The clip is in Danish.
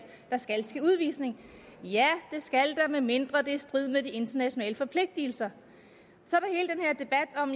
der skal ske udvisning ja det skal der medmindre det er i strid med de internationale forpligtelser så